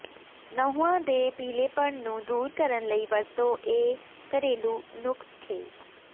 ਨਹੁੰਆਂ ਦੇ ਪੀਲ਼ੇਪਣ ਨੂੰ ਦੂਰ ਕਰਨ ਲਈ ਵਰਤੋ ਇਹ ਘਰੇਲੂ ਨੁਸਖ਼ੇ